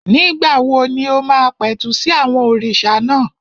Nígbà wo ni o máa pẹ̀tù sí àwọn òrìṣà náà?